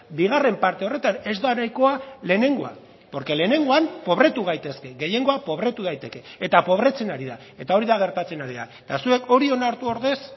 bigarren parte horretan ez da nahikoa lehenengoa porque lehenengoan pobretu gaitezke gehiengoa pobretu daiteke eta pobretzen ari da eta hori da gertatzen ari da eta zuek hori onartu ordez